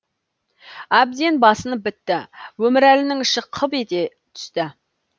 әбден басынып бітті өмірәлінің іші қып ете түсті